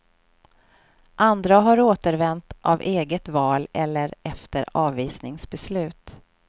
Andra har återvänt av eget val eller efter avvisningsbeslut.